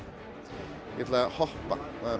ég ætla að hoppa